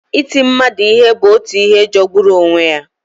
Iti mmadụ ihe bụ otu ihe jọgburu onwe ya.